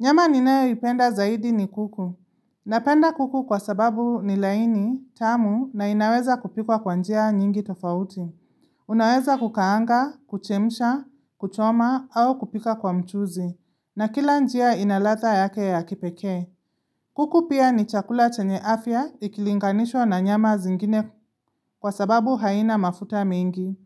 Nyama ninayoipenda zaidi ni kuku. Napenda kuku kwa sababu ni laini, tamu na inaweza kupikwa kwa njia nyingi tofauti. Unaweza kukaanga, kuchemisha, kuchoma au kupika kwa mchuzi. Na kila njia inaladha yake ya kipeke. Kuku pia ni chakula chenye afya ikilinganishwa na nyama zingine kwa sababu haina mafuta mingi.